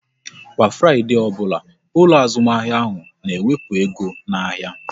Kwa Fraịdee ọbụla, ụlọ azụmahịa ahụ n'ewepu ego n'ahịa